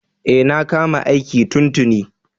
E, na kama aiki tun tuni.